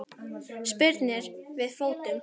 Spyrnir við fótum.